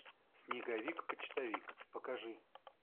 снеговик почтовик покажи